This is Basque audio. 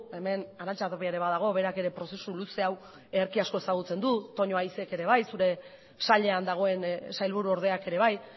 hemen arantxa tapia ere badago berak ere prozesu luze hau ederki asko ezagutzen du ere bai zure sailean dagoen sailburuordeak ere bai